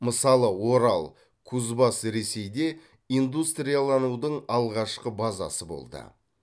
мысалы орал кузбасс ресейде индустрияланудың алғашқы базасы болды